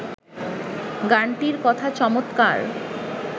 গানটির কথা চমৎকার